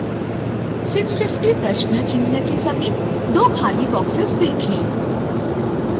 650 प्रश्न चिह्न के समीप दो खाली बॉक्सेस देखें